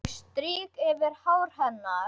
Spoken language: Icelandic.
Ég strýk yfir hár hennar.